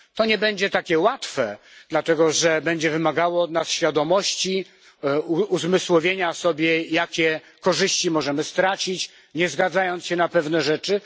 To nie będzie takie łatwe, dlatego że będzie wymagało od nas świadomości, uzmysłowienia sobie, jakie korzyści możemy stracić, nie zgadzając się na pewne rzeczy.